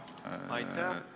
Aitäh!